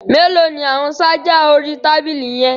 Mélòó ni àwọn ṣájà orí tábìlì yẹn.